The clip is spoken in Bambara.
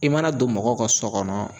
I mana don mɔgɔw ka so kɔnɔ